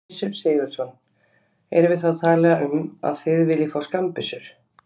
Gissur Sigurðsson: Erum við þá að tala um að þið viljið fá skammbyssur?